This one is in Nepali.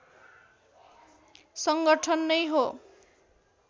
संगठन नै हो